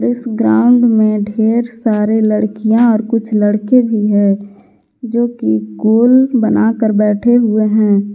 इस ग्राउंड में ढेर सारे लड़कियां और कुछ लड़के भी हैं जो कि गोल बनाकर बैठे हुए हैं।